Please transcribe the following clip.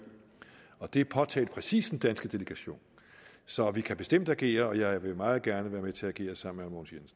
og det påtalte præcis den danske delegation så vi kan bestemt agere og jeg vil meget gerne være med til at agere sammen